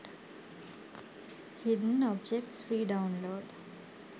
hidden objects free download